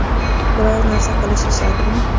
Biror narsa qilishi shartmi?